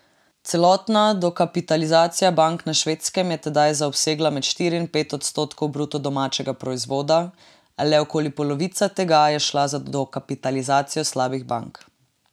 Celotna dokapitalizacija bank na Švedskem je tedaj zaobsegla med štiri in pet odstotkov bruto domačega proizvoda, a le okoli polovica tega je šla za dokapitalizacijo slabih bank.